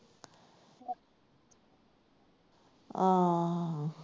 ਆਹ